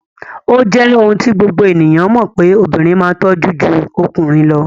O je oun ti gbogbo ènìyàn mo pe obìnrin ma n tojó ju okùnrin lo